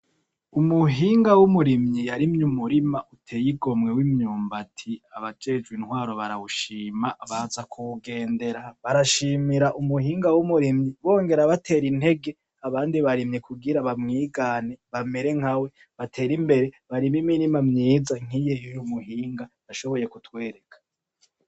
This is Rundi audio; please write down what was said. Umuhinga w’umurimyi yarimye umurima uteye igomwe w’imyumbati abajejwe intwaro barawushima baza kuwugendera barashimira umuhinga wu murimyi bongera batera intege abandi barimyi ku gira bamwigane bamere nkawe batere imbere barime imirima myiza nki yuyu mu hinga yashoboye ku twereka.